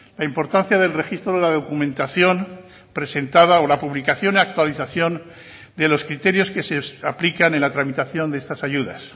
la importancia del registro de la documentación presentada o la publicación y actualización de los criterios que se aplican en la tramitación de estas ayudas